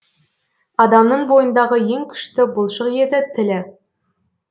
адамның бойындағы ең күшті бұлшық еті тілі